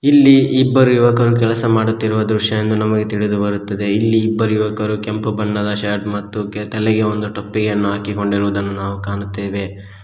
ಇಲ್ಲಿ ಇಬ್ಬರು ಯುವಕರು ಕೆಲಸ ಮಾಡುತ್ತಿರುವ ದೃಶ್ಯ ಎಂದು ನಮಗೆ ತಿಳಿದು ಬರುತ್ತದೆ ಈ ಇಬ್ಬರು ಯುವಕರು ಕೆಂಪು ಬಣ್ಣದ ಶರ್ಟ್ ಮತ್ತು ತಲೆಗೆ ಒಂದು ಟೋಪಿಯನ್ನು ಹಾಕಿಕೊಂಡಿರುವುದನ್ನು ನಾವು ಕಾಣುತ್ತೇವೆ.